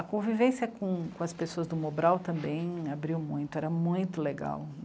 A convivência com, com as pessoas do Mobral também abriu muito, era muito legal.